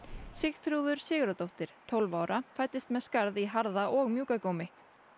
Sigþrúður Sigurðardóttir tólf ára fæddist með skarð í harða og mjúka gómi